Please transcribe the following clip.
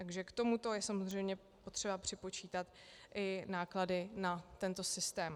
Takže k tomuto je samozřejmě potřeba připočítat i náklady na tento systém.